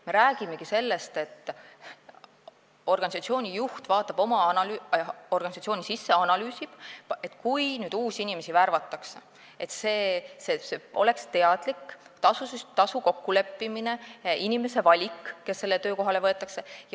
Me räägime sellest, et organisatsiooni juht vaatab oma organisatsiooni sisse ja analüüsib, et kui uusi inimesi värvatakse, kas siis toimub teadlik tasu kokkuleppimine inimesega, kes sellele töökohale võetakse.